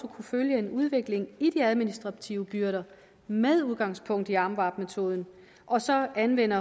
at kunne følge en udvikling i de administrative byrder med udgangspunkt i amvab metoden og så anvende